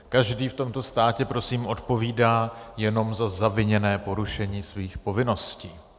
Každý v tomto státě prosím odpovídá jenom za zaviněné porušení svých povinností.